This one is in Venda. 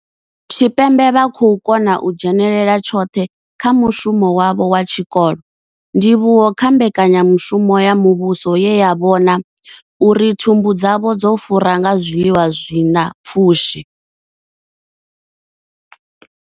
Tshipembe vha khou kona u dzhenela tshoṱhe kha mushumo wavho wa tshikolo, ndivhuwo kha mbekanyamushumo ya muvhuso ye ya vhona uri thumbu dzavho dzo fura nga zwiḽiwa zwi na pfushi.